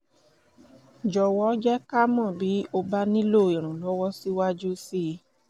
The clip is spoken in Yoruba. jọ̀wọ́ jẹ́ ká mọ̀ bí o bá nílò ìrànlọ́wọ́ síwájú síi